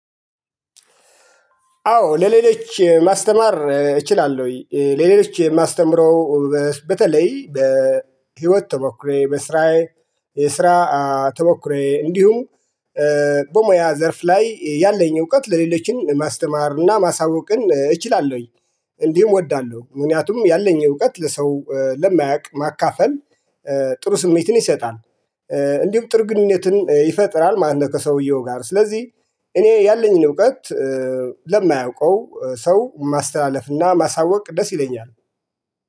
አዎ ለሌሎች ማስተማር እችላለሁኝ ለሌሎች የማስተምረው በተለይ በህይወት ተሞክሮየ በስራዬ የስራ ተሞክሮየ እንዲሁም በሙያ ዘርፍ ላይ ያለኝ እውቀት ለሌሎችን ማስተማር እና ማሳወቅን እችላለሁኝ። እንዲሁም እወዳለሁ ምክንያቱም ያለኝ እውቀት ለሰው ለማያውቅ ማካፈል ጥሩ ስሜትን ይሰጣል። እንዲሁም ጥር ግንኙነትን ይፈጥራል። ማን ከሰውየው ጋር ስለዚህ እኔ ያለኝን እውቀት ለማያውቀው ሰው ማስተላለፍና ማሳወቅ ደስ ይለኛል